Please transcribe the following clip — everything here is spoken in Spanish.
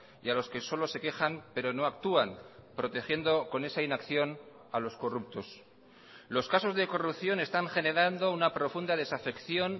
y a los que solo se quejan pero no actúan protegiendo con esa inacción a los corruptos los casos de corrupción están generando una profunda desafección